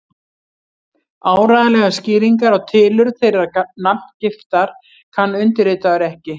Áreiðanlegar skýringar á tilurð þeirrar nafngiftar kann undirritaður ekki.